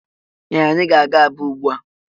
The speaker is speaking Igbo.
Ee! Anyị ga-aga Aba ugbu a.